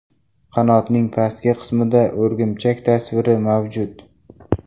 Qanotning pastki qismida o‘rgimchak tasviri mavjud.